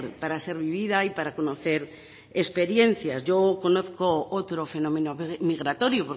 para ser vivida y para conocer experiencias yo conozco otro fenómeno migratorio